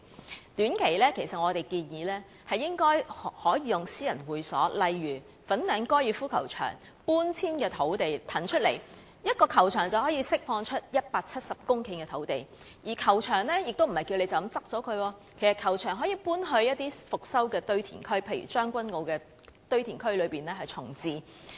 就短期而言，我們建議利用私人會所，例如搬遷粉嶺高爾夫球場以騰空土地，一個球場便可以騰空170公頃的土地，而這樣做亦不代表球場需要關閉，其實球場可以遷往復修的堆填區，例如在將軍澳堆填區重置。